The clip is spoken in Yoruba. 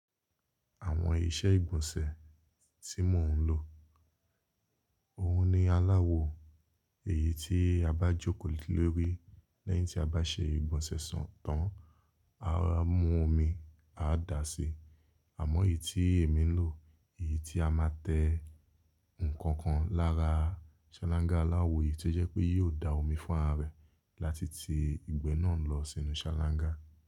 Àwọn ìṣe ìgbọ̀nsẹ̀ tí mò ń lò, òun ni aláwo èyí tí a bá jókòó lórí lẹ́yìn tí a bá ṣe ìgbọ̀nsẹ̀ ṣọ̀tàn, á máa mú omi a dà si. Àmọ́ èyí tí èmi ń lò, èyí tí a máa tẹ ǹkan kan lára ṣáláńgá aláwo èyí tó jẹ́ pé yóò da omi fún ara rẹ̀ láti ti ìgbẹ́ náà lọ sínú ṣáláńgá.